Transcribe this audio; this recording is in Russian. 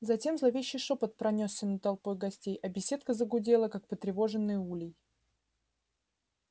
затем зловещий шёпот пронёсся над толпой гостей а беседка загудела как потревоженный улей